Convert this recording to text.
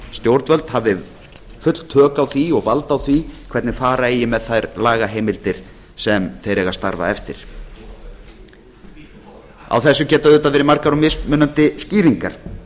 stjórnvöld hafi full tök á því og vald á því hvernig fara eigi með þær lagaheimildir sem þeir eiga að starfa eftir á þessu geta auðvitað verið margar og mismunandi skýringar